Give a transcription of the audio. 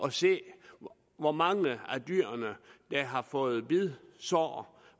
at se hvor mange af dyrene der har fået bidsår